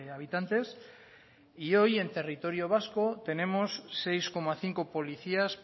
habitantes y hoy en territorio vasco tenemos seis coma cinco policías